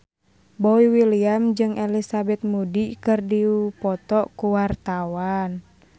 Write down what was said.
Boy William jeung Elizabeth Moody keur dipoto ku wartawan